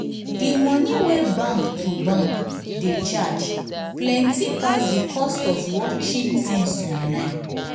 di money wey bank to bank dey charge plenti pass di cost of watching tins online.